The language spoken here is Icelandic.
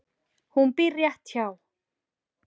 Hún býr rétt hjá.